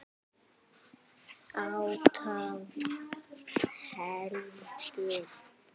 Átta heldur mikið.